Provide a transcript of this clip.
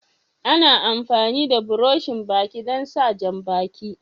Ana amfani da buroshin Baki don sa jam-baki.